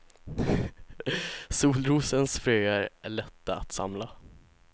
Solrosens fröer är lätta att samla.